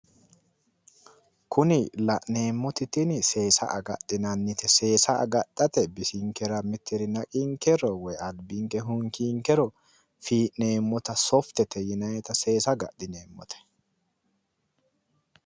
Kuni la'neemmoti tini seesa agadhinannite seesa agadhate bisinkera mitiri naqinkero woy albibke hunkiinkero fii'nemmota softete yinannite seesa agadhinannite